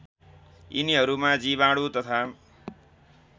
यिनीहरूमा जीवाणु तथा